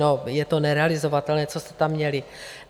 No, je to nerealizovatelné, co jste tam měli.